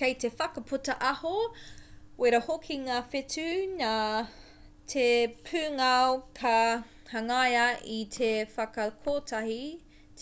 kei te whakaputa aho wera hoki ngā whetū nā te pūngao ka hangaia i te whakakotahi